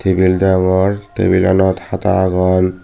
nil rongor tabulanot hata agon.